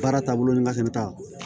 Baara taabolo ni nga fɛnɛ t'a la